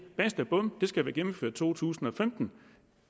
basta bum det skal være gennemført i to tusind og femten